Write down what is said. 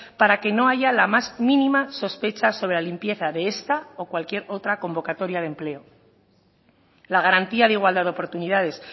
para que no haya la más mínima sospecha sobre la limpieza de esta o cualquier otra convocatoria de empleo la garantía de igualdad de oportunidades